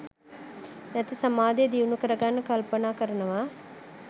නැති සමාධිය දියුණු කරගන්න කල්පනා කරනවා.